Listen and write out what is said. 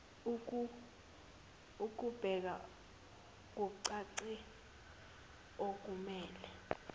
ekubeka kucace okumele